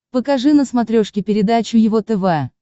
покажи на смотрешке передачу его тв